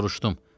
Soruşdum: